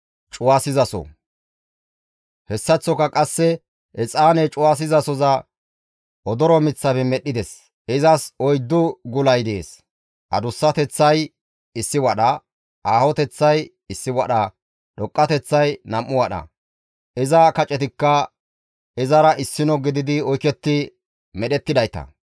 Hessaththoka qasse exaane cuwasizasoza odoro miththafe medhdhides. Izas oyddu gulay dees; adussateththay issi wadha; aahoteththay issi wadha, dhoqqateththay nam7u wadha. Iza kacetikka izara issino gididi oyketti medhettidayta.